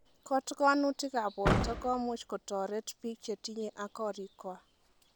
Kotikonutikab borto komuch kotoret biik chetinye ak korikwak.